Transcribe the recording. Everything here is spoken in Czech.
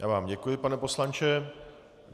Já vám děkuji, pane poslanče.